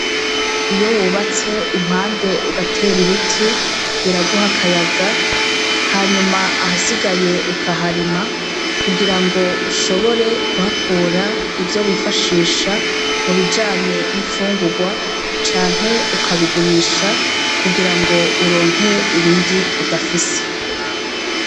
Iyo wubatse impande ugatera ibiti biraguha akayaga hanyuma ahasigaye ukaharima, kugira ngo ushobore kuhakura ivyo wifashisha mu bijanye n'infungurwa canke ukabigurisha kugira ngo urnke ibindi udafise.